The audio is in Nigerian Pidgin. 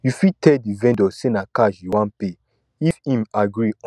you fit tell di vendor sey na cash you wan pay if im agree on di price wey you want